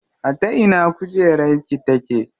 A ta ina kujerar ki take?